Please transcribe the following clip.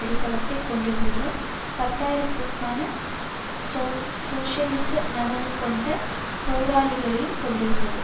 அடித்தளத்தை கொண்டிருந்ததுடன் பத்தாயிர கணக்கான சோசியலிச நனவு கொண்ட போராளிகளையும் கொண்டிருந்தது